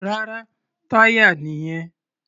Rárá, táyà nìyẹn.